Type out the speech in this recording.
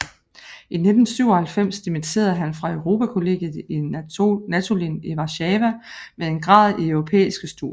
I 1997 dimitterede han fra Europakollegiet i Natolin i Warszawa med en grad i europæiske studier